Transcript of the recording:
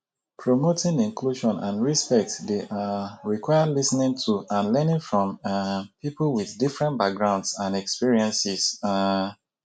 promoting inclusion and respect dey um require lis ten ing to and learning from um people with different backgrounds and experiences. um